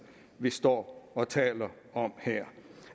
vi står og taler om her